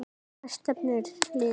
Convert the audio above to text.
Hvert stefnir liðið?